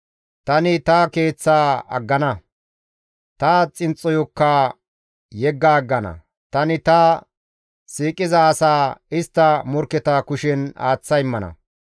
Tani ta keeththaa aggana; ta xinxxoyokka yegga aggana; tani ta siiqiza asaa istta morkketa kushen aaththa immana.